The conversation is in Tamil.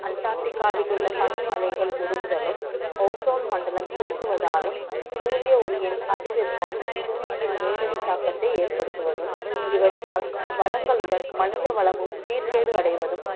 Antarctica வில் உள்ள பனிமலைகள் உருகுதலும் ஓசோன் மண்டலும் சுருங்குவதாலும் சூரிய ஒளியின் அதி வெப்பம் புவியியல் நேரடி தாக்கத்தை ஏற்படுத்துவதும் இவற்றால் வளங்களுடன் மனித வளம் சீர்கேடு அடைவதும்